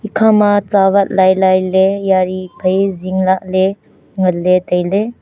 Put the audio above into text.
ikhama chawat lailai le yaari phai zingla le nganle taile.